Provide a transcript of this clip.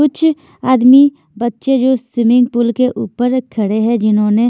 कुछआदमीबच्चे है swimming pool के ऊपर खड़े हैं जिन्होंने--